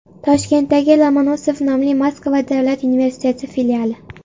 Toshkentdagi Lomonosov nomli Moskva Davlat universiteti filiali.